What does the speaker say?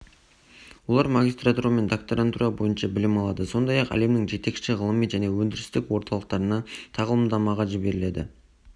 олар магистратура мен докторантура бойынша білім алады сондай-ақ әлемнің жетекші ғылыми және өндірістік орталықтарына тағылымдамаға жіберіледі